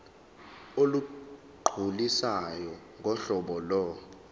olugculisayo ngohlobo lo